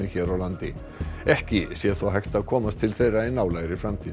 hér á landi ekki sé þó hægt að komast til þeirra í nálægri framtíð